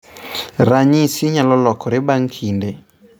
Ranyisigo nyalo lokore bang ' kinde.